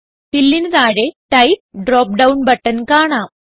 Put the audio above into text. Fillന് താഴെ type drop down button കാണാം